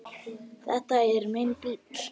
Þetta er minn bíll.